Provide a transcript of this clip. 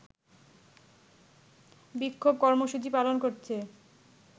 বিক্ষোভ কর্মসূচি পালন করছে